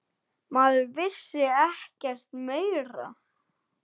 Maður vissi ekkert meira.